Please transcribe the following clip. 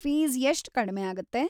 Fees ಎಷ್ಟ್ ಕಡ್ಮೆ ಆಗತ್ತೆ?